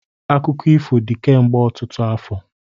Akụkọ ifo dị kemgbe ọtụtụ afọ.